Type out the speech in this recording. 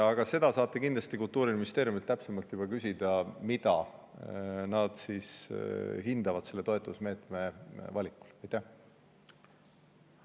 Aga Kultuuriministeeriumilt saate kindlasti täpsemalt küsida, mida nad hindavad selle toetuse valikul.